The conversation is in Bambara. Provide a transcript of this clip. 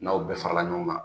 N'aw bɛɛ farala ɲɔgɔn kan.